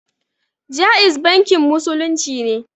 Ja'iz bankin musulunci ne